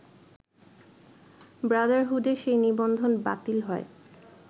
ব্রাদারহুডের সেই নিবন্ধন বাতিল হয়